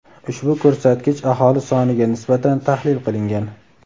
ushbu ko‘rsatkich aholi soniga nisbatan tahlil qilingan.